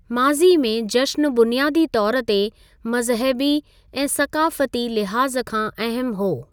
माज़ी में, जश्न बुनियादी तौर ते मज़हबी ऐं सक़ाफ़ती लिहाज़ खां अहमु हो